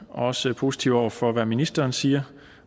også positive over for hvad ministeren siger